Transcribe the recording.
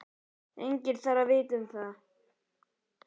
Enginn þarf að vita um það.